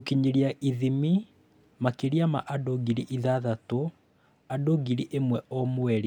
Gũkinyĩra / ithimi: Makĩria ma andũ ngiri ithathatũ, Andũ ngiri ĩmwe o mweri